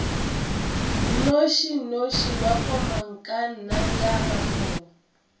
nnošinoši wa komangkanna ya rakgwebo